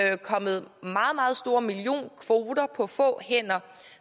er kommet meget store millionkvoter på få hænder